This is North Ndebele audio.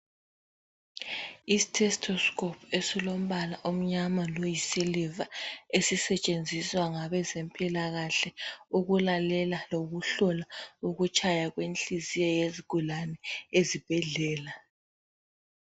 I-stethoscope esilombala omnyama loyisiliva esisetshenziswa ngabezempilakahle ukulalela lokuhlola ukutshaya kwenhliziyo yezigulane ezibhedlela